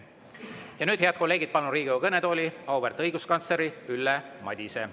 Ja nüüd, head kolleegid, palun Riigikogu kõnetooli auväärt õiguskantsleri Ülle Madise.